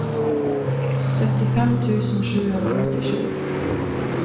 syttifem tusen sju hundre og åttisju